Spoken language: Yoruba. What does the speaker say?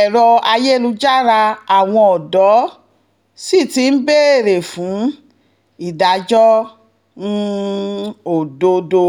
ẹ̀rọ ayélujára àwọn ọ̀dọ́ sì ti ń béèrè fún ìdájọ́ um òdodo